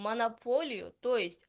монополию то есть